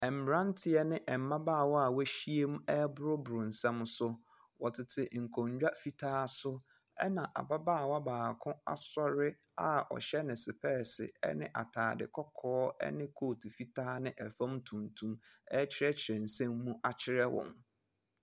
Mmranteɛ ne mmabaawa a wa ahyia mu reboro boro nsɛm so, ɔtete nkonwa fitaa so ɛna ababaawa baako asɔre a ɔhyɛ ne spɛɛse ɛne ataade kɔkɔɔ ɛne kootu fitaa ne ɛfɔm tuntum ɛkyerɛ kyerɛ nsɛm mu akyerɛ wɔn.